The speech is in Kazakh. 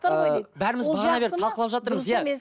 ыыы бәріміз бағанадан бері талқылап жатырмыз иә